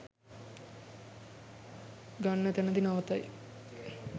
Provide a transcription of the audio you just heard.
ගන්න තැනදී නවතයි